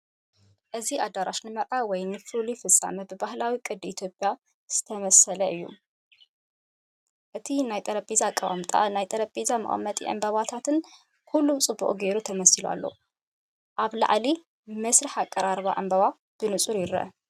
እዚ ኣዳራሽ ንመርዓ ወይ ንፍሉይ ፍጻመ ብባህላዊ ቅዲ ኢትዮጵያ ዝተሰለመ እዩ። እቲ ናይ ጠረጴዛ ኣቀማምጣ፡ ናይ ጠረጴዛ መቐመጢን ዕምባባታትን ኩሉ ጽቡቕ ጌሩ ተሰሊሙ ኣሎ። ኣብ ላዕሊ፡ መስርሕ ኣቀራርባ ዕምባባ ብንጹር ይርአ።